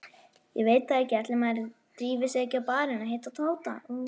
Ég veit það ekki, ætli maður drífi sig ekki á barinn.